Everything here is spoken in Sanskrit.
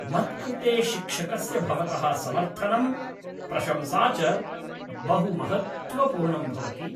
मत्कृते शिक्षकस्य भवतः समर्थनं प्रशंसा च बहु महत्त्वपूर्णं भवति।